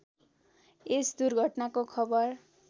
यस दुर्घटनाको खबर